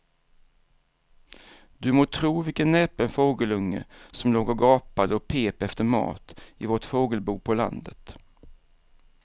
Du må tro vilken näpen fågelunge som låg och gapade och pep efter mat i vårt fågelbo på landet.